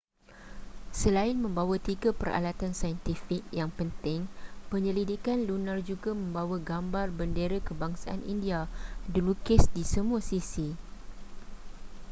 selain membawa tiga peralatan saintifik yang penting penyelidikan lunar juga membawa gambar bendera kebangsaan india dilukis di semua sisi